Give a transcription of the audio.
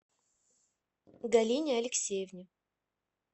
галине алексеевне